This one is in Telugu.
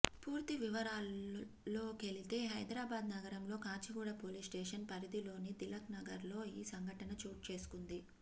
పూర్తి వివరాల్లోకెలితే హైదరాబాద్ నగరంలో కాచిగూడ పోలీస్ స్టేషన్ పరిధిలోని తిలక్ నగర్లో ఈ సంఘటన చోటు చేసుకుంది